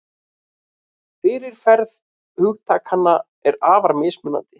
Fyrirferð hugtakanna er afar mismunandi.